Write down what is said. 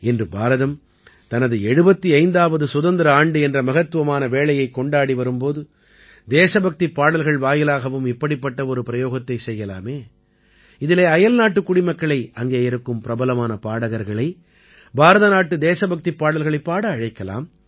இன்று பாரதம் தனது 75ஆவது சுதந்திர ஆண்டு என்ற மகத்துவமான வேளையைக் கொண்டாடி வரும் போது தேசபக்திப் பாடல்கள் வாயிலாகவும் இப்படிப்பட்ட ஒரு பிரயோகத்தைச் செய்யலாமே இதிலே அயல்நாட்டுக் குடிமக்களை அங்கே இருக்கும் பிரபலமான பாடகர்களை பாரத நாட்டு தேசபக்திப் பாடல்களைப் பாட அழைக்கலாம்